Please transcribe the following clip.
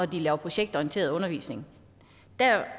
de laver projektorienteret undervisning